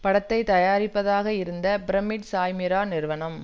படத்தை தயாரிப்பதாக இருந்த பிரமிட் சாய்மீரா நிறுவனம்